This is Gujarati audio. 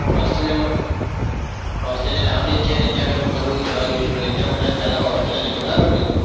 australia માં australia નાનો દેશ છે અને એમાં ઘણું બધું જોવાલાયક ફરવા માટે આપણે પહેલા australia જઈશું બરાબર ને?